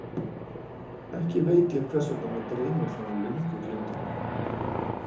Ekki veit ég hvers vegna mig dreymir þann löngu gleymda mann.